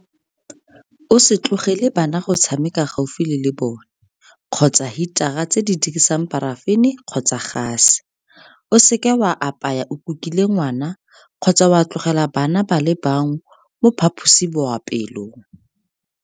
O se tlogele bana go tshamekela gaufi le lebone kgotsa hitara tse di dirisang parafene kgotsa gase. O seke wa apaya o kukile ngwana kgotsa wa tlogela bana ba le bangwe mo phaposiboapeelong.